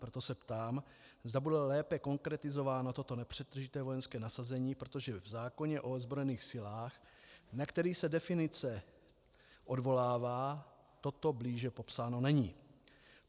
Proto se ptám, zda bude lépe konkretizováno toto nepřetržité vojenské nasazení, protože v zákoně o ozbrojených silách, na který se definice odvolává, toto blíže popsáno není.